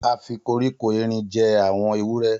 A fi koríko erin jẹ àwọn ewúrẹ́